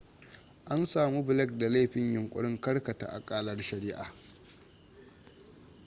an samu blake da laifin yunkurin karkata akalar shari'ah